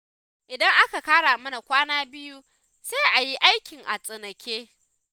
Idan aka ƙara mana kwana biyu, sai a yi aikin a tsanake